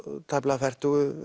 tæplega fertugu